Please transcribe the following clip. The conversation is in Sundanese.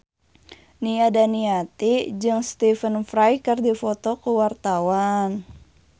Nia Daniati jeung Stephen Fry keur dipoto ku wartawan